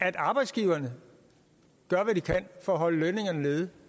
at arbejdsgiverne gør hvad de kan for at holde lønningerne nede